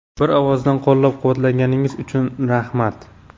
Bir ovozdan qo‘llab-quvvatlaganingiz uchun rahmat.